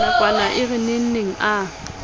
nakwana e re nengneng a